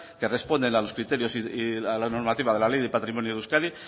que responden a los criterios y a la normativa de la ley de patrimonio de euskadi